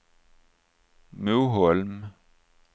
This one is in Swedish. Moholm